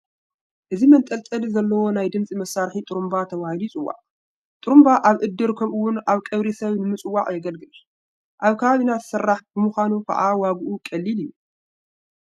እዚ መንጠልጠሊ ዘለዎ ናይ ድምፂ መሳርሒ ጡሩምባ ተባሂሉ ይፅዋዕ፡፡ ጡሩምባ ኣብ እድር ከምኡውን ኣብ ቀብሪ ሰብ ንምፅዋዕ የግልግል፡፡ ኣብ ከባቢና ዝስራሕ ብምዃኑ ከዓ ዋግኡ ቀሊል እዩ፡፡